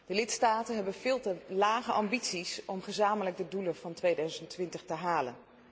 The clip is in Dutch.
De lidstaten hebben veel te lage ambities om gezamenlijk de doelen van 2020 te halen.